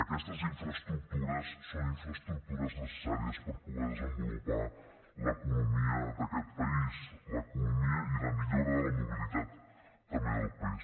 aquestes infraestructures són infraestructures necessàries per poder desenvolupar l’economia d’aquest país l’economia i la millora de la mobilitat també del país